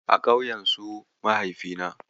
A ƙauyen su Mahaifina.